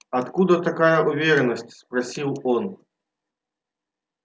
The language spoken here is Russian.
откуда такая уверенность спросил он